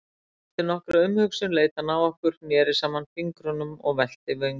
Eftir nokkra umhugsun leit hann á okkur, neri saman fingrunum og velti vöngum.